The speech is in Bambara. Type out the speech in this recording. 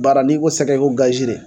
Baara n'i ko sɛgɛ i ko gazi de